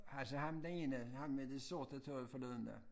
Altså ham den ene ham med det sorte tøj forleden dag